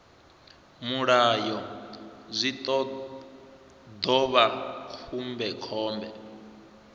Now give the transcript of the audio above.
mulayo zwi ḓo vha khombekhombe